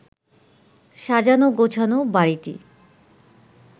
সাজানো-গোছানো বাড়িটি